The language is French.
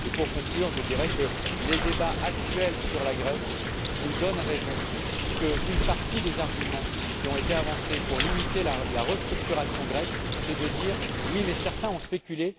Pour conclure, je dirai que les débats actuels sur la Grèce nous donnent raison puisque une partie des arguments qui ont été avancés pour limiter la restructuration grecque, c'est de dire oui, mais certains ont spéculé.